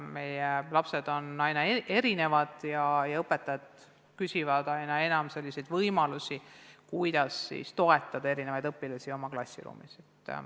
Meie lapsed on erinevad ja õpetajad küsivad aina enam selliseid võimalusi, kuidas toetada erinevaid õpilasi oma klassiruumis.